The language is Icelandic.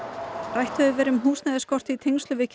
rætt hefur verið um húsnæðisskort í tengslum við